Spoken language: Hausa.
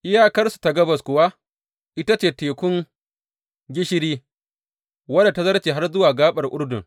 Iyakarsu ta gabas kuwa ita ce Tekun Gishiri wadda ta zarce har zuwa gaɓar Urdun.